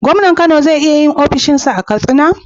gomnan Kano ze iya yin ofishin sa a katsina